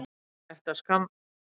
Ég ætti að skamm